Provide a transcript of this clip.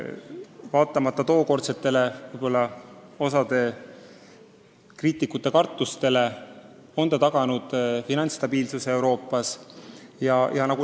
Vaatamata tookordsetele kriitikute kartustele on ESM taganud finantsstabiilsuse Euroopa Liidus.